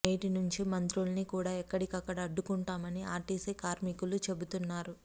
నేటి నుంచి మంత్రుల్ని కూడా ఎక్కడికక్కడ అడ్డుకుంటామని ఆర్టీసీ కార్మికులు చెబుతున్నారు